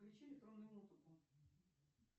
включи электронную музыку